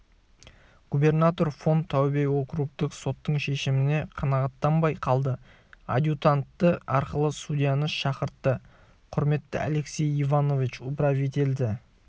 губернатор фон таубе округтік соттың шешіміне қанағаттанбай қалды адъютанты арқылы судьяны шақыртты құрметті алексей иванович управительді